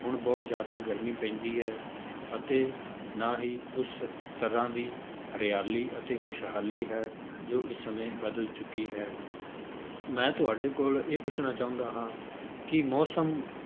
ਹੁਣ ਬਹੁਤ ਜ਼ਿਆਦਾ ਗਰਮੀ ਪੈਂਦੀ ਹੈ, ਅਤੇ ਨਾ ਹੀ ਉਸ ਤਰ੍ਹਾਂ ਦੀ ਹਰਿਆਲੀ ਅਤੇ ਖ਼ੁਸ਼ਹਾਲੀ ਹੈ, ਜੋ ਇਸ ਸਮੇਂ ਬਦਲ ਚੁੱਕੀ ਹੈ ਮੈਂ ਤੁਹਾਡੇ ਕੋਲ ਇਹ ਪੁੱਛਣਾ ਚਾਹੁੰਦਾ ਹਾਂ ਕਿ ਮੌਸਮ